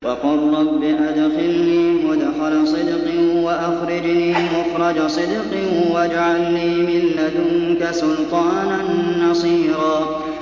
وَقُل رَّبِّ أَدْخِلْنِي مُدْخَلَ صِدْقٍ وَأَخْرِجْنِي مُخْرَجَ صِدْقٍ وَاجْعَل لِّي مِن لَّدُنكَ سُلْطَانًا نَّصِيرًا